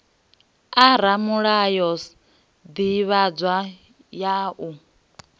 a ramulayo sdivhadzo ya u